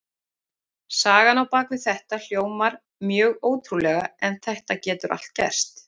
Sagan á bak við þetta hljómar mjög ótrúlega en það getur allt gerst.